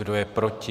Kdo je proti?